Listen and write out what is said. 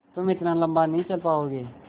तुम इतना लम्बा नहीं चल पाओगे